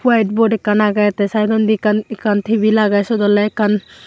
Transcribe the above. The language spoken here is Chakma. white board ekkan aage te side ondi ekkan ekkan table aage siyod ole ekkan.